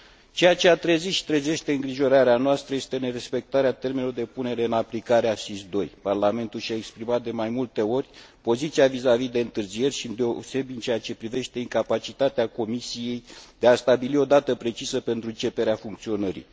Ceea ce a trezit și trezește îngrijorarea noastră este nerespectarea termenelor de punere în aplicare a SIS II. Parlamentul și a exprimat de mai multe ori poziția vizavi de întârzieri, îndeosebi în ceea ce privește incapacitatea Comisiei de a stabili o dată precisă pentru începerea funcționării.